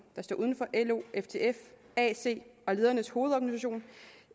der står uden for lo ftf ac og ledernes hovedorganisation